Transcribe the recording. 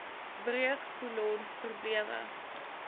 breuk kolon probleme